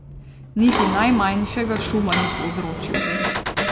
Niti najmanjšega šuma ni povzročil.